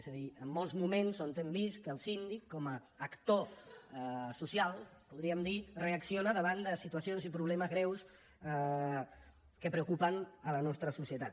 és a dir en molts moments on hem vist que el síndic com a actor social podríem dir reacciona davant de situacions i problemes greus que preocupen la nostra societat